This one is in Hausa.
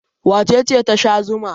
Wace ce ta sha zuma?